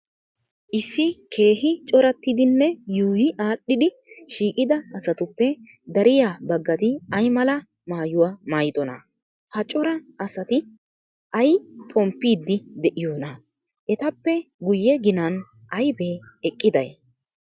Issi keehi corattidinne yuuyi aadhdhidi shiiqida asatuppe dariya baggati ay mala maayuwa maayidonaa? Ha cora asati ay xomppiiddi de'iyoonaa? Etappee guyye ginan aybee eqqiday?